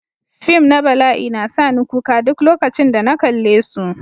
Fim na bala'i na sa ni kuka duk lokacin da na kalle su.